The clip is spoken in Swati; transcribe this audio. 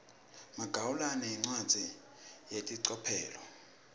magawula incwadzi yelicophelo